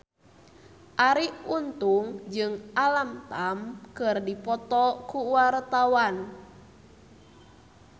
Arie Untung jeung Alam Tam keur dipoto ku wartawan